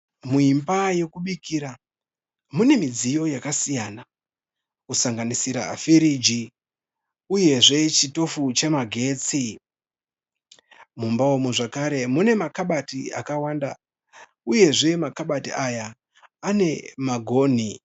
Muimba yekubikira mune midziyo yakasiyana kusanganisira firiji uyezve chitofu chemagetsi. Mumba umu zvekare mune makabati akawanda uyezve makabati aya ane magonhi.